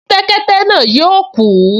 Kẹ́tẹ́kẹ́tẹ́ náà yóò kú